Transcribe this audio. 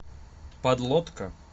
подлодка